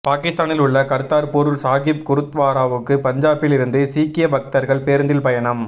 பாகிஸ்தானில் உள்ள கர்த்தார்பூர் சாகிப் குருத்வாராவுக்கு பஞ்சாபில் இருந்து சீக்கிய பக்தர்கள் பேருந்தில் பயணம்